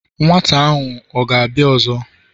Nwata ahu ọ̀ gābia ọzọ?